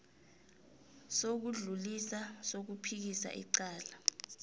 sokudlulisa sokuphikisa icala